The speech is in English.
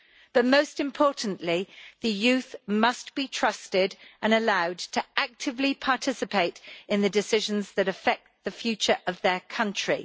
But most importantly, the youth must be trusted and allowed to actively participate in the decisions that affect the future of their country.